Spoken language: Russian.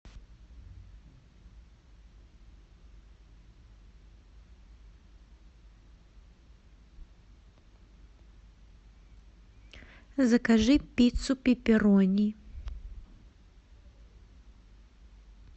закажи пиццу пиперонни